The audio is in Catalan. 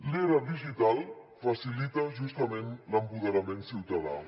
l’era digital facilita justament l’empoderament ciutadà